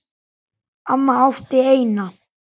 Amma átti eina.